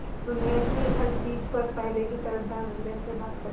दुनिया की हर चीज पर पहले की तरह धडल्ले से बात करे